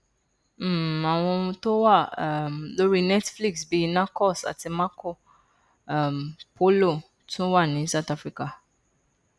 um àwọn ohun tó wà um lórí netflix bíi narcos àti marco um polo tún wà ní south africa